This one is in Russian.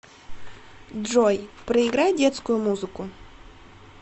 джой проиграй детскую музыку